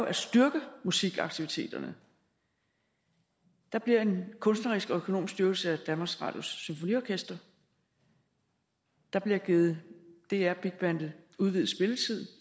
at styrke musikaktiviteterne der bliver en kunstnerisk og økonomisk styrkelse af danmarks radios symfoniorkester der bliver givet dr big bandet udvidet spilletid